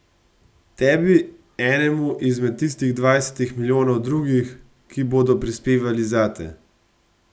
Tebi, enemu izmed tistih dvajsetih milijonov drugih, ki bodo prispevali zate ...